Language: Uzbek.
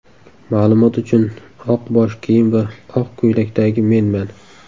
Ma’lumot uchun, oq bosh kiyim va oq ko‘ylakdagi menman.